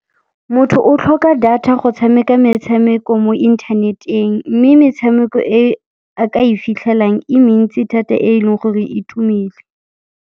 Motho o tlhoka data go tshameka metshameko mo internet-eng, mme metshameko e a ka e fitlhelang e mentsi thata e leng gore e tumile.